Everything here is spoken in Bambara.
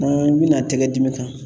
N'an bi na tɛgɛ dimi kan